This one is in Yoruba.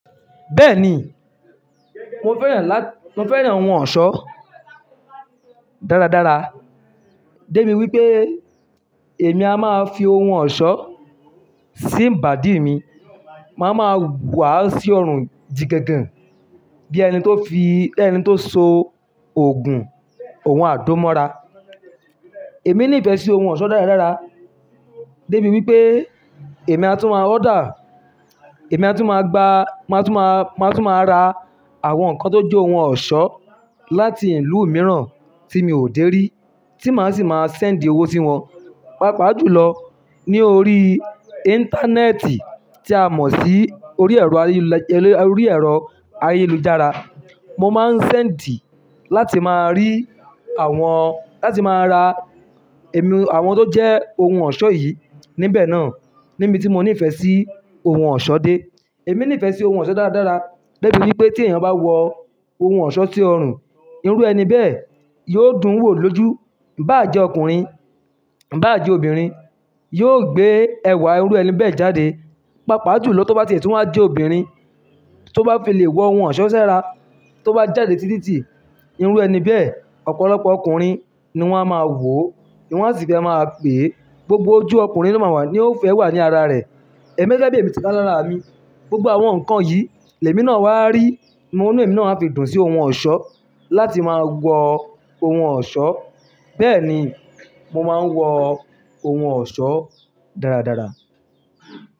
Bẹ́ẹ̀ni, mo fẹ́ràn lá, mo fẹ́ràn ohun ọ̀ṣọ́ dáradára. Débi wípé èmi a máa fi ohun ọ̀ṣọ́ sí ibàdíì mi. Màá ma wàá sí ọrùn jìgàgàn bí ẹni tó fi, ẹni tó so òògùn òun àdó mọ́ra. Èmi ní ìfẹ́ sí ohun ọ̀ṣọ́ dáradára. Débi wípé èmi a tún ma order, èmi a tún ma gba, màá tún ma, màá tún ma ra àwọn nǹkan tó jẹ́ ohun ọ̀ṣọ́ láti ìlú mìíràn tí mi ò dé rí tí màá sì máa send owó sí wọn. Pápá jù lọ ní orí íńtánẹ́ẹ̀tì tí a mọ̀ sí orí ẹ̀rọ ayélujára. Mo máa ń send láti máa rí àwọn, láti máa ra èmi àwọn tó jẹ́ ohun ọ̀ṣọ́ yìí níbẹ̀ náà níbi tí mo ní ìfẹ́ sí ohun ọ̀ṣọ́ dé. Èmi ní ìfẹ́ sí ohun ọ̀ṣọ́ dáradára. Débi wípé tí èèyàn bá wọ ohun ọ̀ṣọ́ sí ọrùn, irú ẹni bẹ́ẹ̀ yóò dùn wò lójú. Ìbáà jẹ́ ọkùnrin, ìbáà jẹ́ obìnrin, yóò gbé ẹwà irú ẹni bẹ́ẹ̀ jáde. Pàápàá jù lọ tí ó bá tiẹ̀ tún wá ma jẹ́ obìnrin tó bá fi lè wọ ohun ọ̀ṣọ́ s'ára, tó bá jáde sí títi, irú ẹni bẹ́ẹ̀ ọ̀pọ̀lọpọ̀ ọkùnrin ni wọ́n a máa wòó, ni wọ́n sì fẹ́ máa pèé. Gbogbo ojú ọkùnrin ló máa wà ní yóò fẹ́ wà ní ara rẹ̀. Gẹ́gẹ́ bí èmi ti bá lára mi. Gbogbo àwọn nǹkan yìí l'èmi náà wá rí, mo ní èmi náa fi dùn sí ohun ọ̀ṣọ́ láti máa wọ ohun ọ̀ṣọ́. Bẹ́ẹ̀ni, mo máa ń wọ ohun ọ̀ṣọ́ dáradára.